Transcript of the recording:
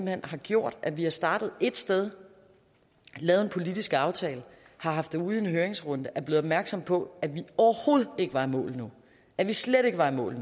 hen har gjort at vi har startet et sted lavet en politisk aftale har haft det ude i en høringsrunde og er blevet opmærksomme på at vi overhovedet ikke var i mål endnu at vi slet ikke var i mål